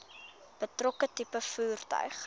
betrokke tipe voertuig